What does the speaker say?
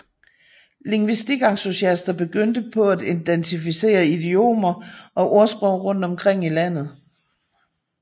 Lingvistikentusiaster begyndte på at identificere idiomer og ordsprog rundt omkring i landet